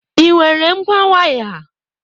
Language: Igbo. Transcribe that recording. Ị nwere ngwa waya?